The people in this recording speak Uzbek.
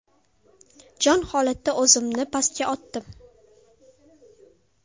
Jon holatda o‘zimni pastga otdim.